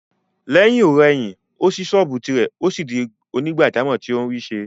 Lẹ́yìn-ò-rẹyìn, ó ṣí sọ́ọ̀bù tìrẹ, ó sì di onígbàjámọ̀ tó ń rí ṣe